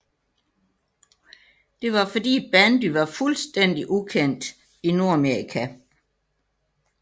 Det var fordi bandy var fuldstændig ukendt i Nordamerika